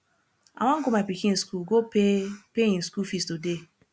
i wan go my pikin school go pay pay im school fees today